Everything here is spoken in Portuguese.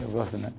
Eu gosto mesmo.